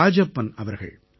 ராஜப்பன் அவர்கள்